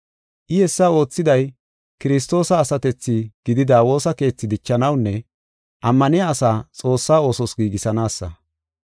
I hessa oothiday Kiristoosa asatethi gidida woosa keethi dichanawunne ammaniya asaa Xoossaa oosos giigisanaasa.